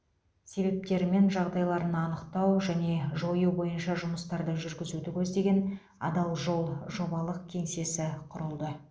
себептері мен жағдайларын анықтау және жою бойынша жұмыстарды жүргізуді көздеген адал жол жобалық кеңсесі құрылды